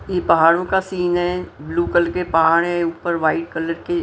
ये पहाड़ों का सीन है ब्लू कलर के पहाड़ है ऊपर वाइट कलर के--